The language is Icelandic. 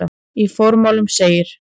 Í formálanum segir